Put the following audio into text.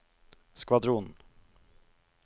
skvadron